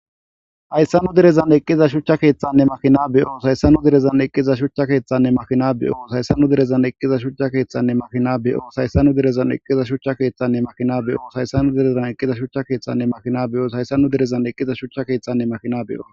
Hayssannu derezan eqqiza shuchcha keeththanne makina beyo sayssannu derezan eqqiza shuchcha keeththanne makina beyo sayssannu derezan eqqiza shuchcha keeththanne makina beyo shayssanu derezan eqqiza shuchcha keeththanne makina beyo shayssanu direzan eqqiza shuchcha keeththanne makina beyos hayssanu derezan eqqiza. shuchcha keethtanne makina be7o